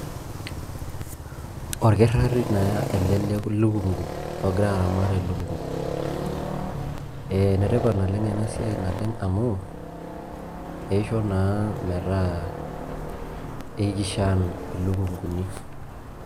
Orkirr'ari naa ele lekung'u ogira aramat elukung'u. Ee ene tipat oleng' ena siai naleng' amu eisho naa metaa eikishan ilukung'uni.